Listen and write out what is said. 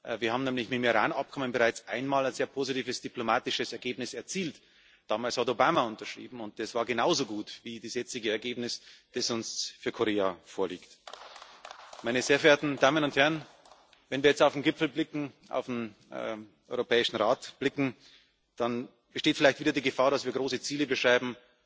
Wir haben nämlich mit dem Iran Abkommen bereits einmal ein sehr positives diplomatisches Ergebnis erzielt. Damals hat Obama unterschrieben, und das war genauso gut wie das jetzige Ergebnis, das uns für Korea vorliegt. Wenn wir jetzt auf den Gipfel, auf den Europäischen Rat blicken, dann besteht vielleicht wieder die Gefahr, dass wir große Ziele beschreiben